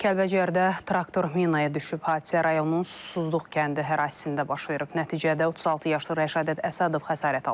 Kəlbəcərdə traktor minaya düşüb, hadisə rayonunun susuzluq kəndi ərazisində baş verib, nəticədə 36 yaşlı Rəşadət Əsədov xəsarət alıb.